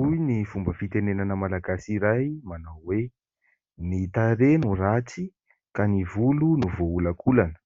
Hoy ny fomba fitenenana Malagasy iray manao hoe "Ny tarehy no ratsy ka ny volo no voaolakolana"